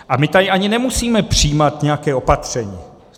A my tady ani nemusíme přijímat nějaké opatření.